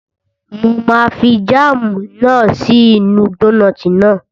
Mo máa fi jáàmù náà sí inú dónààtì náà